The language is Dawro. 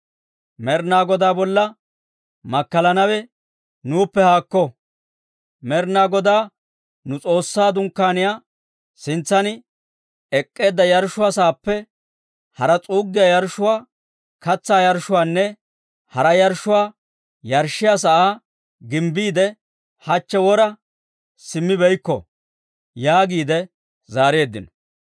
Med'ina Godaa bolla makkalanawe nuuppe haakko! Med'ina Godaa nu S'oossaa Dunkkaaniyaa sintsan ek'k'eedda yarshshuwaa saappe haraa, s'uuggiyaa yarshshuwaa, katsaa yarshshuwaanne hara yarshshuwaa yarshshiyaa sa'aa gimbbiide, hachche wora simmibeykko» yaagiide zaareeddino.